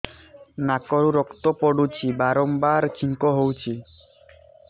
ନାକରୁ ରକ୍ତ ପଡୁଛି ବାରମ୍ବାର ଛିଙ୍କ ହଉଚି